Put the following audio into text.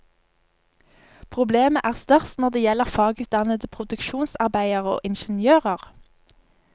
Problemet er størst når det gjelder fagutdannede produksjonsarbeidere og ingeniører.